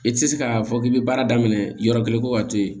I tɛ se k'a fɔ k'i bɛ baara daminɛ yɔrɔ kelen ko ka to yen